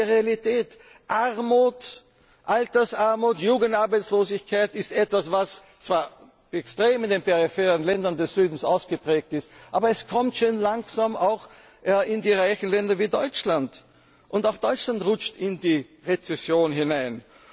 um Unterstützung bittet? Das ist die Realität Armut, Altersarmut, Jugendarbeitslosigkeit ist etwas, was zwar in den peripheren Ländern des Südens extrem ausgeprägt ist, aber es kommt schön langsam auch in die reichen Länder wie Deutschland! Und auch Deutschland rutscht